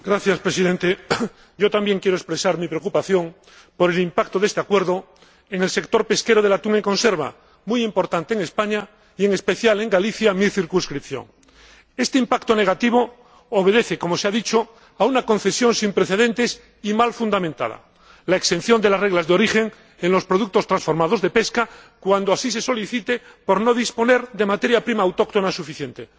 Señor Presidente, yo también quiero expresar mi preocupación por el impacto de este acuerdo en el sector pesquero del atún en conserva, muy importante en España y en especial en Galicia, mi circunscripción. Este impacto negativo obedece, como se ha dicho, a una concesión sin precedentes y mal fundamentada la exención de las normas de origen en los productos transformados de la pesca, cuando así se solicite, por no disponer de materia prima autóctona suficiente.